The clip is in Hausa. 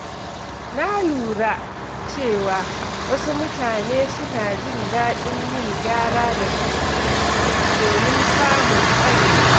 Na lura cewa wasu mutane suna jin daɗin yin gyara da kansu domin samun ƙwarewa.